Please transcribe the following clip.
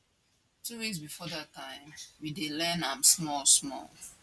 two weeks bifor dat time we dey learn am smallsmall